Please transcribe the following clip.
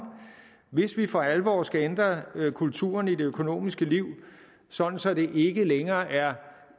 hvis vi for alvor skal ændre kulturen i det økonomiske liv sådan så det ikke længere er